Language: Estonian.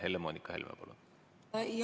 Helle-Moonika Helme, palun!